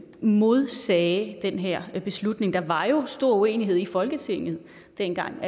modsagde den her beslutning der var jo stor uenighed i folketinget dengang